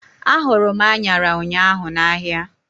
A hụrụ m anyara ụnyaahụ n'ahia